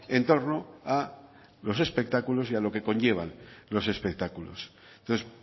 en torno a los espectáculos y a lo que conllevan los espectáculos entonces